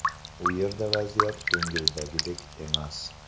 U yerda vaziyat ko‘ngildagidek emas.